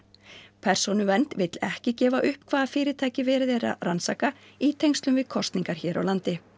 persónuvernd vill ekki gefa upp hvaða fyrirtæki verið er að rannsaka í tengslum við kosningar hér á landi